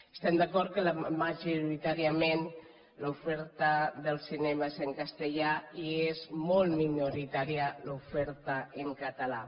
estem d’acord que majoritàriament l’oferta del cinema és en castellà i és molt minoritària l’oferta en català